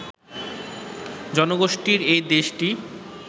জনগোষ্ঠীর এই দেশটি